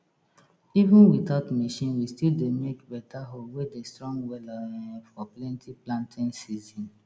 even without machine we still dey make beta hoe wey dey strong wela um for plenty planting season